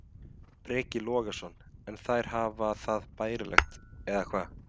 Breki Logason: En þær hafa það bærilegt eða hvað?